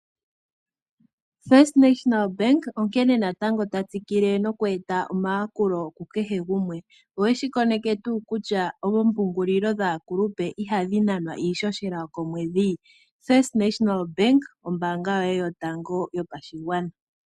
First National Bank onkene natango tatsikile okweeta omayakulo kukehe gumwe. Oweshi koneke tuu kutya oompungulilo dhaakulupe ihadhi nanwa iishoshela yokomwedhi? First National Bank ombaanga yoye yotango yopashigwana.